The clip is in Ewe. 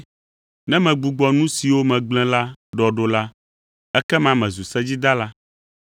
Ne megbugbɔ nu siwo megblẽ la ɖɔɖola, ekema mezu sedzidala.